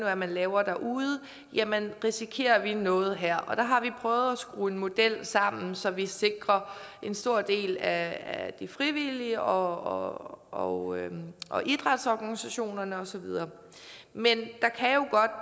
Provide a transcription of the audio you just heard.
er man laver derude jamen risikerer vi noget her der har vi prøvet at skrue en model sammen så vi sikrer en stor del af de frivillige og og idrætsorganisationerne og så videre men